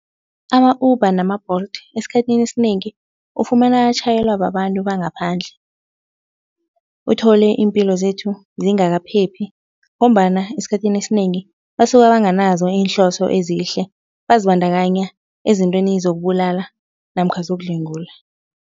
Ama-Uber nama-Bolt esikhathini esinengi ufumana atjhayelwa babantu bangaphandle. Uthole iimpilo zethu zingakaphephi ngombana esikhathini esinengi basuka banganazo iinhloso ezihle bazibandakanya ezintweni zokubulala namkha zokudlwengula.